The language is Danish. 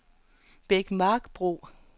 Bækmarksbro